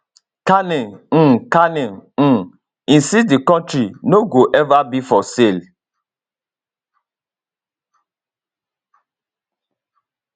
carney um carney um insist di country no go ever be for sale